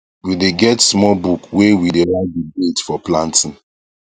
we dae get small book wae we dae write the dates for planting